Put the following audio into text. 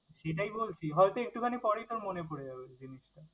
সেটাই বলছি, হয়তো একটুখানি পরেই তোর মনে পরে যাবে জিনিসটা।